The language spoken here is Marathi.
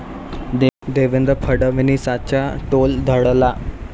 देवेंद्र फडणवीसांचा तोल ढळला